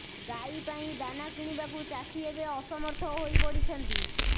ଗାଈ ପାଇଁ ଦାନା କିଣିବାକୁ ଚାଷୀ ଏବେ ଅସମର୍ଥ ହୋଇ ପଡିଛନ୍ତି